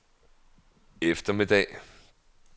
eftermiddag